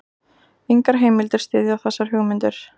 Engar heimildir styðja þessar hugmyndir.